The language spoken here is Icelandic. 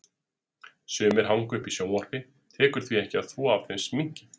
Sumir hanga uppi í sjónvarpi, tekur því ekki að þvo af þeim sminkið.